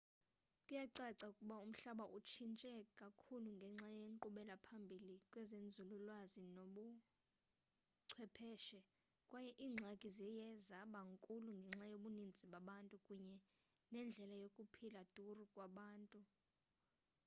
kuyacaca ukuba umhlaba utshintshe kakhulu ngenxa yenkqubela phambili kwezenzululwazi nakwezobuchwepheshe kwaye iingxaki ziye zaba nkulu ngenxa yobuninzi babantu kunye nendlela yokuphila duru kwabantu